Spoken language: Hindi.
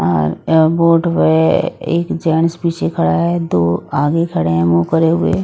और ये बोट पे एक जेंटस पीछे खड़ा है दो आगे खड़े हैं मुंह करे हुए।